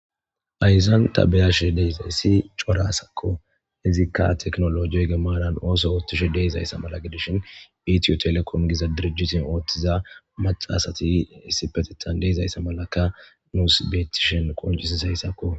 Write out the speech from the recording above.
ayzan tabeyashe deyzayssi corasakko hizikka teknolojiyoy gemanan ooso oothtishe deizayssa mala gidishin iitiyo telekon giza dirjitin ooththiza maxasati issipetettan deezayssa malaka nuusibetishen qonjisisheyssakko